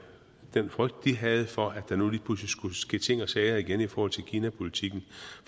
den frygt de havde for at der nu lige pludselig skulle ske ting og sager igen i forhold til kinapolitikken